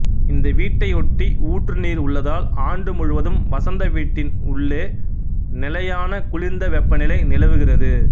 இந்த வீட்டையொட்டி ஊற்று நீர் உள்ளதால் ஆண்டு முழுவதும் வசந்த வீட்டின் உள்ளே நிலையான குளிர்ந்த வெப்பநிலை நிலவுகிறது